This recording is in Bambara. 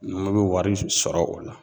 Numu bɛ wari sɔrɔ o la